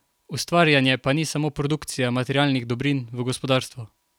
Ustvarjanje pa ni samo produkcija materialnih dobrin v gospodarstvu.